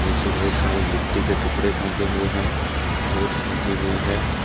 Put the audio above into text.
नीचे ढेर सारे गिट्टी के टुकड़े फेंके हुए हैं रेत फेंकी हुई है।